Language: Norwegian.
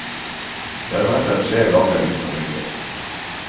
Jeg har vært der tre ganger uten å lykkes.